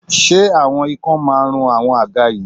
ṣe awọn ikan ma run awọn àga yìí